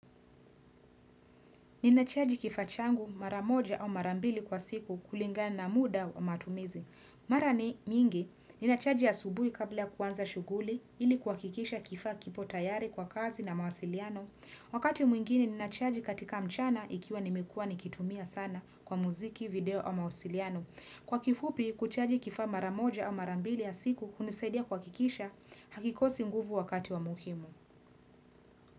Ninachaji kifaa changu mara moja au mara mbili kwa siku kulingani na muda wa matumizi. Mara ni mingi, ninachaji asubuhi kabla ya kuanza shughuli ili kuhakikisha kifaa kipo tayari kwa kazi na mawasiliano. Wakati mwingine ninachaji katika mchana ikiwa nimekuwa nimekuwa nikitumia sana kwa muziki, video au mawasiliano. Kwa kifupi, kuchaji kifa mara moja au mara mbili ya siku hunisadia kuhakikisha hakikosi nguvu wakati wa muhimu.